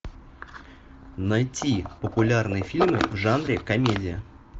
найти популярные фильмы в жанре комедия